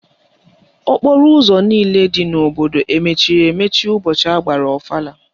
Okporo ụzọ niile dị n'obodo emechiri emechi ụbọchị agbara ọfala?